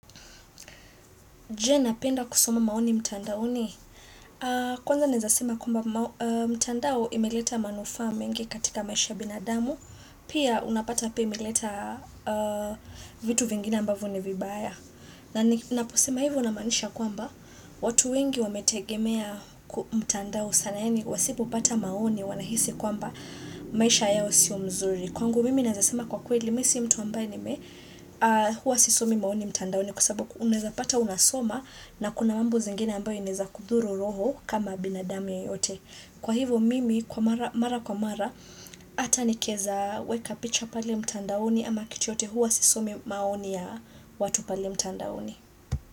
Je napenda kusoma maoni mtandao ni? Kwanza naezasema kwamba mtandao imeleta manufaa mengi katika maisha ya binadamu. Pia unapata pia imeleta vitu vingine ambavyo ni vibaya. Na ninaposema hivo namaanisha kwamba watu wengi wametegemea mtandao sana yaani. Wasipopata maoni wanahisi ya kwa maisha yao sio mzuri. Kwangu mimi naezasema kwa kweli mimi si mtu ambaye hua sisomi maoni mtandaoni kwa sababu unaeza pata unasoma. Na kuna mambo zingine ambayo inaeza kudhuru roho kama binadamu yeyote. Kwa hivo mimi, mara kwa mara, hata nikieza weka picha pale mtandaoni ama kitu yote huwa sisomi maoni ya watu pale mtandaoni.